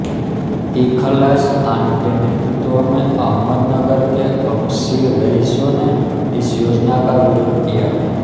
इखलास ख़ान के नेतृत्व में अहमदनगर के हब्शी रईसों ने इस योजना का विरोध किया